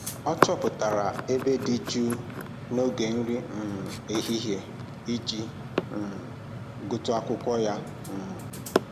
Ọ chọpụtara ebe dị jụụ n'oge nri um ehihie iji um gụtụ akwụkwọ ya um